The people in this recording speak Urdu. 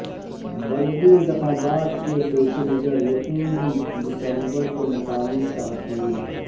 بلدی انتخابات کے پیش نظر یکم ڈسمبر کو مقامی تعطیل